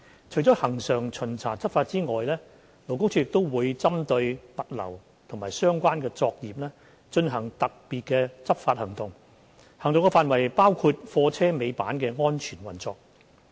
除了恆常巡查執法之外，勞工處亦會針對物流及相關作業進行特別執法行動，行動範圍包括貨車尾板的安全運作。